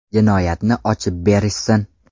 Jinoyatni ochib berishsin.